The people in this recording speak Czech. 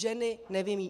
Ženy nevyjímaje.